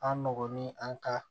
An nɔgɔn ni an ka